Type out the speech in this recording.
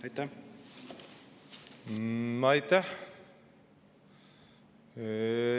Aitäh!